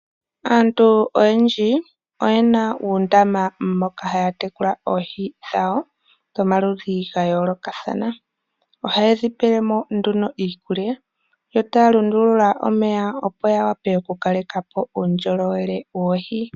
Aantu oyendji oye na uundaama moka haya tekula oohi dhawo dhomaludhi ga yoolokathana. Ohaye dhi pele mo nduno iikulya yo taya lundulula omeya, opo ya wape okukaleka po uundjolowele woohi.